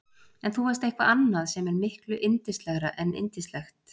En þú varst eitthvað annað sem er miklu yndislegra en yndislegt.